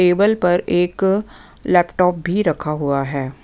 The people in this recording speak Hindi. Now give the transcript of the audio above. टेबल पर एक लैपटॉप भी रखा हुआ हैं।